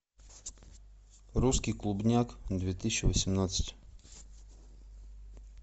русский клубняк две тысячи восемнадцать